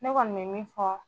Ne kɔni bɛ min fɔ